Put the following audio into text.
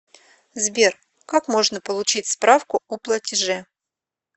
сбер как можно получить справку о платеже